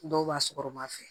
Dɔw b'a sɔgɔma fɛ